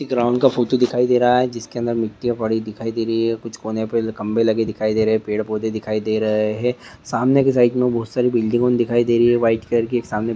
एक रॉंग का फोटो दिखाई दे रहा है जिसके अंदर मिट्टीया पड़ी दिखाई दे रही है कूच कोने पे जो खंभे लगे दिखाई दे रहे है पेड़ पौधे दिखाई दे रहे है सामने की साइड मे बहोत सारी बिल्डिंगों दिखाई दे रही है व्हाइट कलर की एक सामने